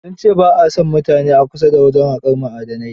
Sun ce ba a son mutane a kusa da wajen haƙar ma'adanai.